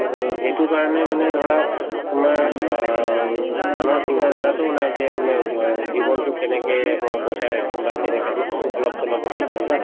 অ সেইটোৰ কাৰণে মানে ধৰা তোমাৰ অ উম মানুহৰ চিন্তা ধাৰাতোও নাই যে মানে অ জীৱনতো কেনেকে মই বচাই ৰাখিম বা যেনেকে অলপ-চলপত